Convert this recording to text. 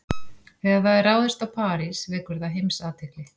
Þegar það er ráðist á París vekur það heimsathygli.